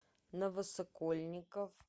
новосокольников